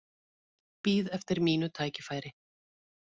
Bíð eftir mínu tækifæri